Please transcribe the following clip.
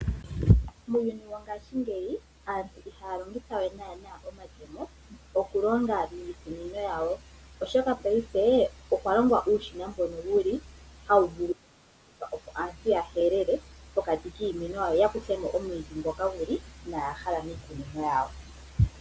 Muuyuni wongashingeyi, aantu ihaya longitha we naana omatemo, okulonga miikunino yawo, oshoka paife okwalongwa uushina mbono wuli hawu vulu okulongithwa opo aantu ya helele pokati kiimeno yawo, yo ya kuthemo omwiidhi ngoka inaaya hala miikunino yawo.